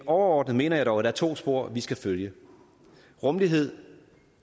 overordnet mener jeg dog at der er to spor vi skal følge rummelighed